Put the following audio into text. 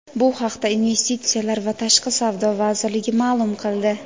Bu haqda Investitsiyalar va tashqi savdo vazirligi ma’lum qildi.